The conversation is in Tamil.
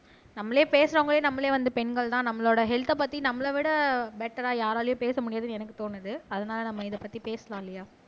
நம்மளே பேசுறவங்களே நம்மளே வந்து பெண்கள்தான் நம்மளோட ஹெல்த் பத்தி நம்மள விட பெட்டெரா யாராலயும் பேச முடியாதுன்னு எனக்கு தோணுது அதனால நம்ம இதைப்பத்தி பேசலாம் லியா